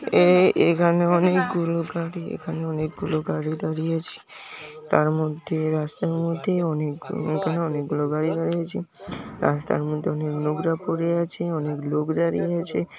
এই এখানে অনেকগুলো গাড়ি এখানে অনেকগুলো গাড়ি দাঁড়িয়ে আছে । তার মধ্যে রাস্তার মধ্যে অনেক লোকেরা অনেক গুলো গাড়ি দাঁড়িয়ে আছে রাস্তার মধ্যে অনেক নোংরা পরে আছে অনেক লোক দাঁড়িয়ে আছে।